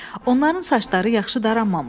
Onların saçları yaxşı daranmamışdı.